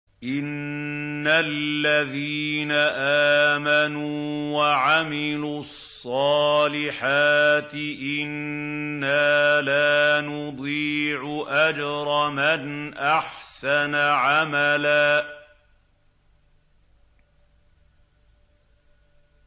إِنَّ الَّذِينَ آمَنُوا وَعَمِلُوا الصَّالِحَاتِ إِنَّا لَا نُضِيعُ أَجْرَ مَنْ أَحْسَنَ عَمَلًا